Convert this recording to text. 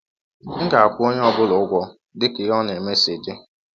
M ga - akwụ ọnye ọ bụla ụgwọ dị ka ihe ọ na - eme si dị.